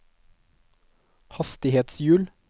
hastighetshjul